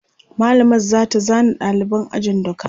mallamar zata zana ɗaliban ajin duka